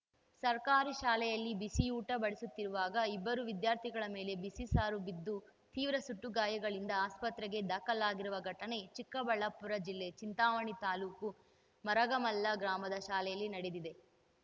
ಸರ್ಕಾರಿ ಶಾಲೆಯಲ್ಲಿ ಬಿಸಿಯೂಟ ಬಡಿಸುತ್ತಿರುವಾಗ ಇಬ್ಬರು ವಿದ್ಯಾರ್ಥಿಗಳ ಮೇಲೆ ಬಿಸಿ ಸಾರು ಬಿದ್ದು ತೀವ್ರ ಸುಟ್ಟು ಗಾಯಗಳಿಂದ ಆಸ್ಪತ್ರೆಗೆ ದಾಖಲಾಗಿರುವ ಘಟನೆ ಚಿಕ್ಕಬಳ್ಳಾಪುರ ಜಿಲ್ಲೆ ಚಿಂತಾಮಣಿ ತಾಲೂಕು ಮುರಗಮಲ್ಲ ಗ್ರಾಮದ ಶಾಲೆಯಲ್ಲಿ ನಡೆದಿದೆ